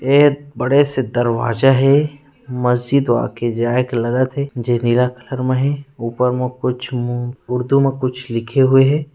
एक बड़े से दरवाजा हे मस्जिद वाकई जाए के लायक लगत हे जे नीला कलर मे हे ऊपर म कुछ उर्दू में कुछ लिखे हुए हे।